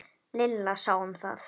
Lilla sá um það.